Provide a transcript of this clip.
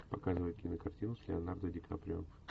показывай кинокартину с леонардо ди каприо